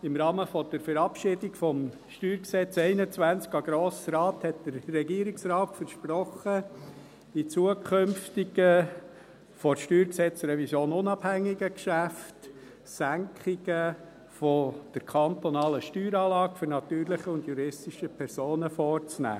Im Rahmen der Verabschiedung des Steuergesetzes (StG) 2021 an den Grossen Rat hat der Regierungsrat versprochen, die zukünftigen, von der StG-Revision unabhängigen Geschäfte – Senkungen der kantonalen Steueranlage für natürliche und juristische Personen – vorzunehmen.